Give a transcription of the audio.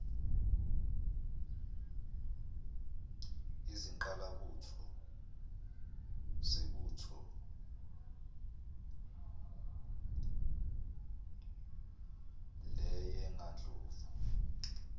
izingqalabutho zebutho leyengandlovu